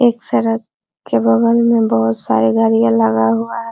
एक सड़क के बगल में बहुत सारे गाड़ीया लगा हुआ है।